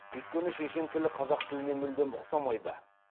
өйткені шешен тілі қазақ тіліне мүлдем ұқсамайды